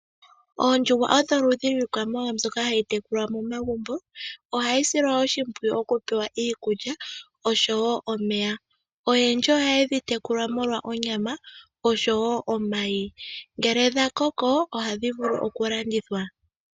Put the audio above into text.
Oondjuhwa odho oludhi lwiikwamawawa mbyoka hayi tekulwa momagumbo. Ohayi silwa oshimpwiyu okupewa iikulya oshowo omeya. Oyendji ohaye dhi tekula molwa onyama oshowo omayi. Ngele dha koko ohadhi vulu okulandithwa